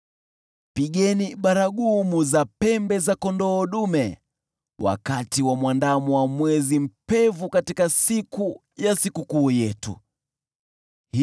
Pigeni baragumu za pembe za kondoo dume wakati wa Mwandamo wa Mwezi, na wakati wa mwezi mpevu, katika siku ya Sikukuu yetu;